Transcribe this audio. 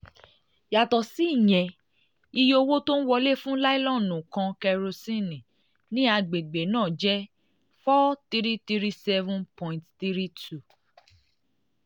yàtọ̀ síyẹn um iye owó tó ń wọlé fún lílọ́ọ̀nù kan kérosínì ní àgbègbè um náà jẹ́ n4337.32.